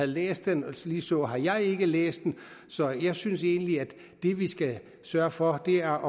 læst den og ligeså har jeg heller ikke læst den så jeg synes egentlig at det vi skal sørge for er